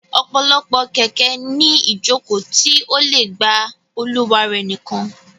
Ọ̀pọ̀lọpọ̀ kẹ̀kẹ́ ní iìjòkó tí ó le gba olùwà rẹ̀ nìkan